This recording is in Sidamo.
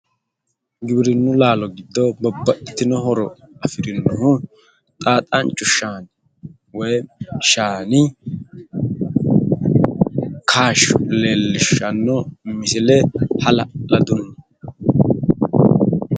giwirinnu laalo giddo babbaxxitino horo afirinohu xaaxanchu shaani woyi shaani kaashsho leellishshanno misile hala'laduyii..